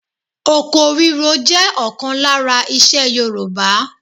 Oko ríro jẹ́ ọ̀kan lára isẹ Yorùbá.